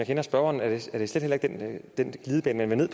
kender spørgeren er det slet heller ikke den glidebane man vil